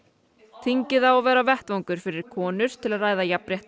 þingið á að vera vettvangur fyrir konur til að ræða jafnréttismál